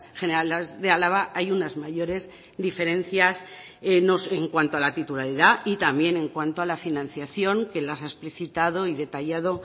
generales de álava hay unas mayores diferencias en cuanto a la titularidad y también en cuanto a la financiación que las ha explicitado y detallado